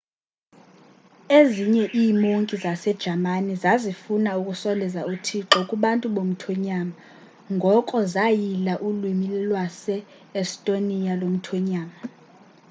ezinye iimonki zasejamani zazifuna ukusondeza uthixo kubantu bomthonyama ngoko zayila ulwimi lwase-estonia lomthonyama